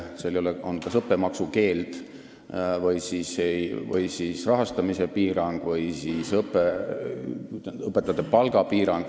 Seal on kas õppemaksukeeld, rahastamise piirang või õpetajate palga piirang.